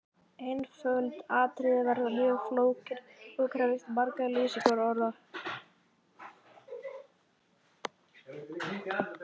Einföldustu atriði verða mjög flókin og krefjast margra lýsingarorða.